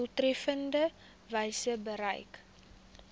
doeltreffendste wyse bereik